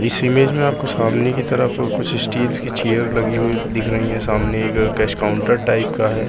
इस इमेज में आपको सामने की तरफ कुछ स्टील की चेयर लगी हुई दिख रही है सामने एक कैश काउंटर टाइप का है।